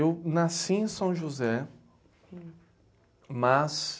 Eu nasci em São José, mas...